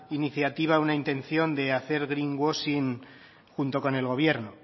iniciativa una intención de hacer greenwashing junto con el gobierno